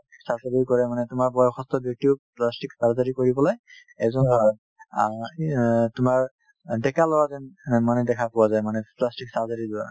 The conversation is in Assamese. surgery কৰে মানে তোমাৰ বয়সত চাই plastic surgery কৰি পেলাই এজন আ কি অ তোমাৰ অ ডেকা ল'ৰা যেন অ মানে দেখা পোৱা যায় মানে plastic surgery ৰ দ্বাৰা